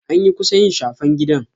Anyi kusa yi shafen gida.